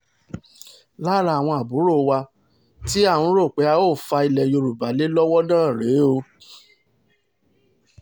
lára àwọn àbúrò wa tí à ń rò pé a óò fa ilẹ̀ yorùbá lé lọ́wọ́ náà rèé o